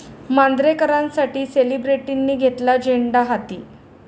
मांजरेकरांसाठी सेलिब्रिटींनी घेतला झेंडा हाती!